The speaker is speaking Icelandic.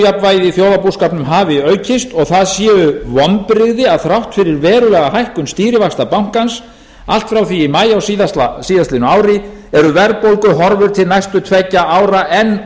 ójafnvægi í þjóðarbúskapnum hafi aukist og það séu vonbrigði að þrátt fyrir verulega hækkun stýrivaxta bankans allt frá því í maí á s ári eru verðbólguhorfur til næstu tveggja ára